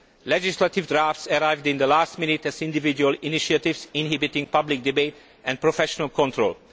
Legislative drafts arrived at the last minute as individual initiatives inhibiting public debate and professional control.